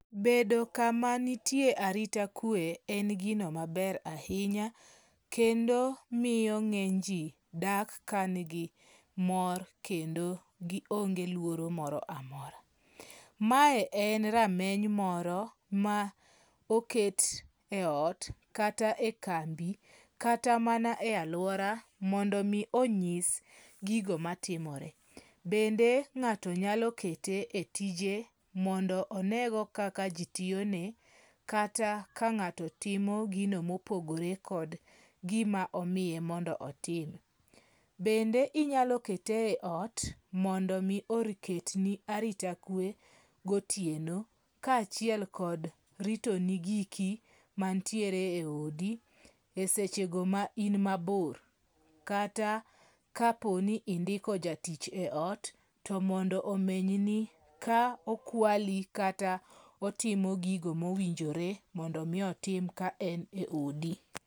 Bedo kama nitie arita kwe en gino maber ahinya kendo miyo ng'eny ji dak ka nigi mor kendo kendo gionge luoro moro amora. Mae en rameny moro ma oket e ot kata e kambi kata mana e alwora mondo omi onyis gigo matimore. Bende ng'ato nyalo kete e tije mondo onego kaka ji tiyone, kata ka ng'ato timo gino mopogore kod gimo omiye mondo otim. Bende inyalo kete e ot mondo omi oketni arita kwe gotieno, kaachiel kod ritoni giki mantiere e odi e sechego ma in mabor, kata kapo ni indiko jatich e ot to mondo omenyni ka okwali kata otimo gigo mowinjore mondo omi otim ka en e odi.